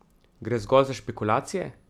Gre zgolj za špekulacije?